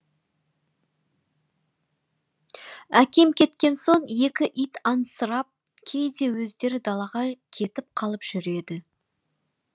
әкем кеткен соң екі ит аңсырап кейде өздері далаға кетіп қалып жүреді